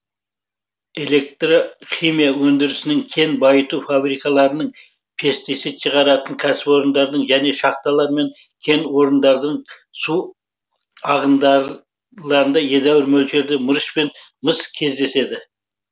электрхимия өндірісінің кен байыту фабрикаларының пестицид шығаратын кәсіпорындардың және шахталар мен кен орындарының су ағында ғыларында едәуір мөлшерде мырыш пен мыс кездеседі